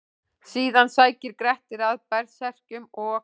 Síðan sækir Grettir að berserkjum og: